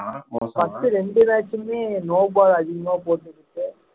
first இரண்டு match சுமே no ball அதிகமா போட்டுட்டு